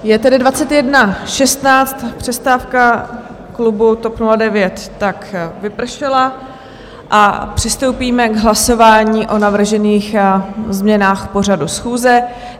Je tedy 21.16, přestávka klubu TOP 09 tak vypršela a přistoupíme k hlasování o navržených změnách pořadu schůze.